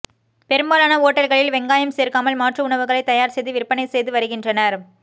பெரும்பாலான ஓட்டல்களில் வெங்காயம் சேர்க்காமல் மாற்று உணவுகளை தயார் செய்து விற்பனை செய்து வருகின்றனர்